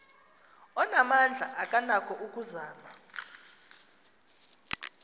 onamandla akanako ukuzama